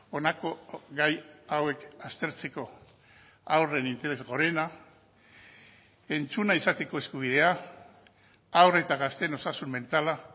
honako gai hauek aztertzeko haurren interes gorena entzuna izateko eskubidea haur eta gazteen osasun mentala